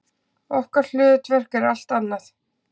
Okkar hlutverk er allt annað.